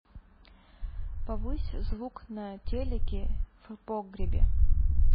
повысь звук на телике в погребе